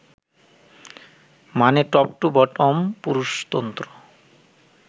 মানে top to bottom পুরুষতন্ত্র